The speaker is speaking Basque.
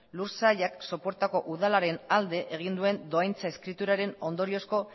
lursailak sopuertako udalaren alde egin duen dohaintza eskriturazko